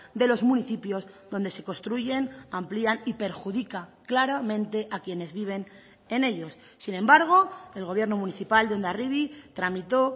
de los municipios donde se construyen amplían y perjudica claramente a quienes viven en ellos sin embargo el gobierno municipal de hondarribi tramitó